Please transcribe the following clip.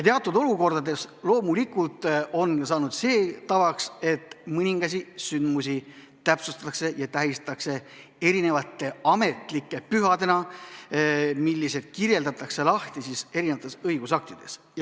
Teatud olukordades loomulikult on saanud see tavaks, et mõningaid sündmusi tähistatakse ametlike pühadena, mis kirjeldatakse lahti õigusaktides.